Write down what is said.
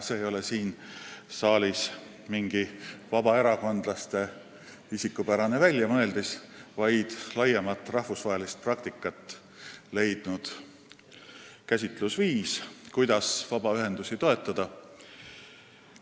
See ei ole mingi vabaerakondlaste isikupärane väljamõeldis siin saalis, vaid rahvusvahelises praktikas laiemalt rakendust leidnud käsitlusviis, kuidas vabaühendusi toetada.